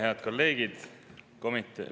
Head kolleegid!